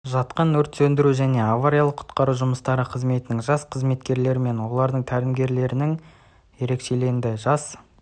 жатқан өрт сөндіру және авариялық-құтқару жұмыстары қызметінің жас қызметкерлері мен олардың тәлімгерлерінің ерекшеленді жас